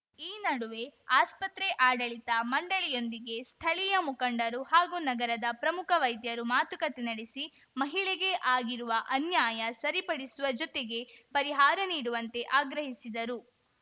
ಈ ನಡುವೆ ಆಸ್ಪತ್ರೆ ಆಡಳಿತ ಮಂಡಳಿಯೊಂದಿಗೆ ಸ್ಥಳೀಯ ಮುಖಂಡರು ಹಾಗೂ ನಗರದ ಪ್ರಮುಖ ವೈದ್ಯರು ಮಾತುಕತೆ ನಡೆಸಿ ಮಹಿಳೆಗೆ ಆಗಿರುವ ಅನ್ಯಾಯ ಸರಿಪಡಿಸುವ ಜೊತೆಗೆ ಪರಿಹಾರ ನೀಡುವಂತೆ ಆಗ್ರಹಿಸಿದರು